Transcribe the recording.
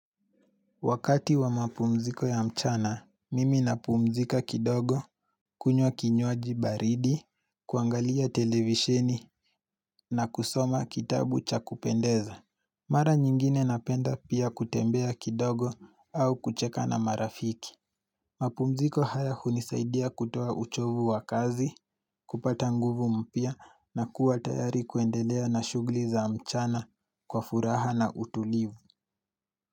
Wakati wa mapumziko ya mchana, mimi napumzika kidogo, kunywa kinywaji baridi, kuangalia televisheni na kusoma kitabu cha kupendeza. Mara nyingine napenda pia kutembea kidogo au kucheka na marafiki. Mapumziko haya hunisaidia kutoa uchovu wa kazi, kupata nguvu mpya na kuwa tayari kuendelea na shugli za mchana kwa furaha na utulivu.